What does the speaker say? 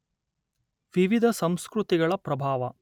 ವಿವಿಧ ಸಂಸ್ಕೃತಿಗಳ ಪ್ರಭಾವ